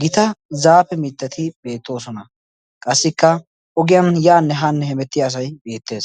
gita zaafe mittati beettoosona. Qassikka ogiyan yaanne haanne hemettiya asay beettees.